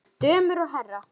Dömur og herrar!